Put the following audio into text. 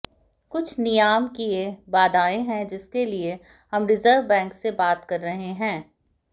कुछ नियामकीय बाधाएं हैं जिसके लिए हम रिजर्व बैंक से बात कर रहे हैं